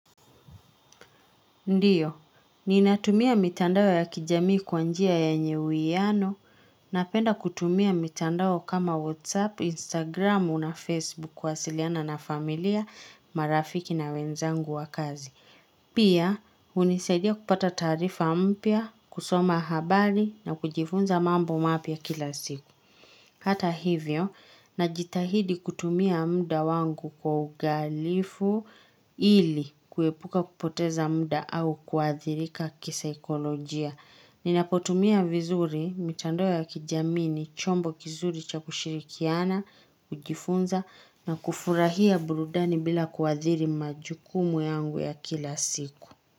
Ndio, ninatumia mitandao ya kijamii kwa njia yenye uwiano, napenda kutumia mitandao kama WhatsApp, Instagram, na Facebook kuwasiliana na familia, marafiki na wenzangu wa kazi. Pia, hunisaidia kupata taarifa mpya, kusoma habari na kujifunza mambo mapya kila siku. Hata hivyo najitahidi kutumia muda wangu kwa uangalifu ili kuepuka kupoteza muda au kuwathirika kisaikolojia. Ninapotumia vizuri, mitandao ya kijamii ni, chombo kizuri cha kushirikiana, kujifunza na kufurahia burudani bila kuathiri majukumu yangu ya kila siku.